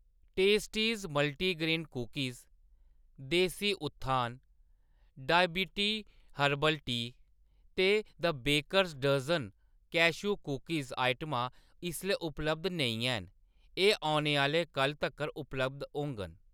testes multigrain cookies, desi Utthan डायवीटी herbal चाह् ते the baker dozen cashew cookies आइटमां इसलै उपलब्ध नेईं हैन, एह्‌‌ औने आह्‌ला कल्ल तक्कर उपलब्ध होङन